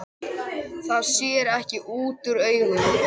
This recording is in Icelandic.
Það sér ekki útúr augum.